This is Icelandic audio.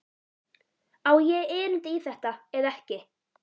Á ég erindi í þetta eða ekki?